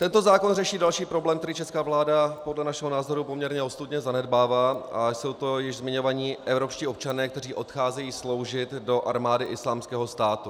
Tento zákon řeší další problém, který česká vláda podle našeho názoru poměrně ostudně zanedbává, a jsou to již zmiňovaní evropští občané, kteří odcházejí sloužit do armády Islámského státu.